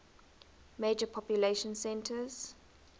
major population centers